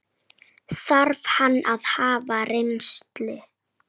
Þarf hann að hafa reynslu?